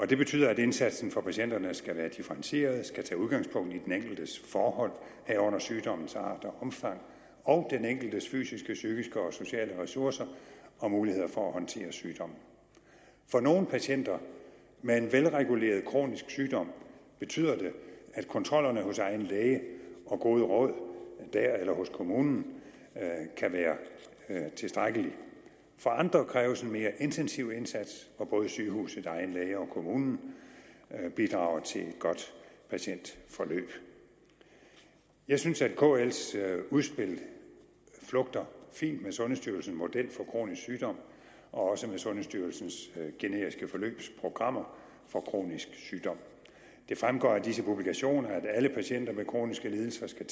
det betyder at indsatsen for patienterne skal være differentieret skal tage udgangspunkt i den enkeltes forhold herunder sygdommens art og omfang og den enkeltes fysiske psykiske og sociale ressourcer og muligheder for at håndtere sygdommen for nogle patienter med en velreguleret kronisk sygdom betyder det at kontrollerne hos egen læge og gode råd dér eller hos kommunen kan være tilstrækkeligt for andre kræves en mere intensiv indsats hvor både sygehuset egen læge og kommunen bidrager til et godt patientforløb jeg synes at kl’s udspil flugter fint med sundhedsstyrelsens model for kronisk sygdom og også med sundhedsstyrelsens generiske forløbsprogrammer for kronisk sygdom det fremgår af disse publikationer at alle patienter med kroniske lidelser skal